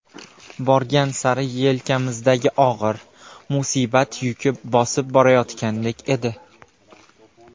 Borgan sari yelkamizdagi og‘ir, musibat yuki bosib borayotgandek edi.